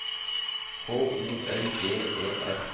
H O L G E R